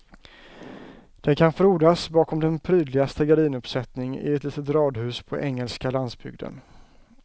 Den kan frodas bakom den prydligaste gardinuppsättning i ett litet radhus på engelska landsbygden.